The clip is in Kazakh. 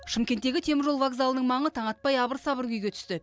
шымкенттегі теміржол вокзалының маңы таң атпай абыр сабыр күйге түсті